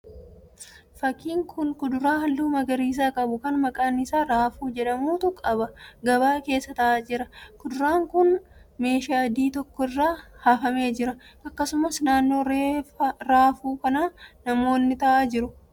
Fakkiin kun kuduraa halluu magariisa qabu kan maqaan isaa raafuu jedhamutu gabaa keessa ta'aa jira. Kuduraan kun keeshaa adii tokko irra hafamee jira. Akkasumallee naannoo raafuu kanaa namoonni taa'aa jiru.